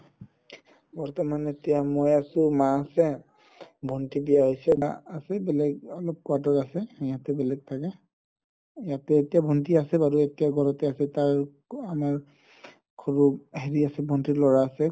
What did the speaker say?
বৰ্তমান এতিয়া মই আছো মা আছে ভন্তি বিয়া হৈছে বা আছে বেলেগ অলপ quarter আছে সিহতে বেলেগ থাকে ইয়াতে এতিয়া ভন্তি আছে বাৰু এতিয়া ঘৰতে আছে তাৰ আমাৰ ভন্তিৰ ল'ৰা আছে